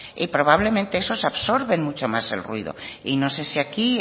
y probablemente esos absorben mucho más el ruido y no sé si aquí